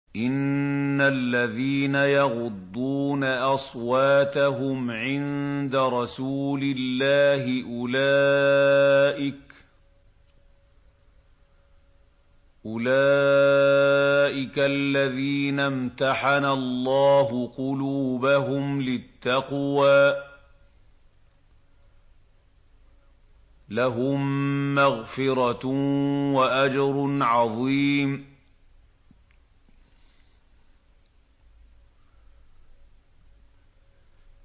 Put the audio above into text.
إِنَّ الَّذِينَ يَغُضُّونَ أَصْوَاتَهُمْ عِندَ رَسُولِ اللَّهِ أُولَٰئِكَ الَّذِينَ امْتَحَنَ اللَّهُ قُلُوبَهُمْ لِلتَّقْوَىٰ ۚ لَهُم مَّغْفِرَةٌ وَأَجْرٌ عَظِيمٌ